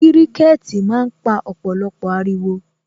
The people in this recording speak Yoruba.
Kiriketi máa ń pa ọ̀pọ̀lọpọ̀ ariwo